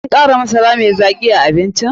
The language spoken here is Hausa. Kin kara masara mai zaki a abincin?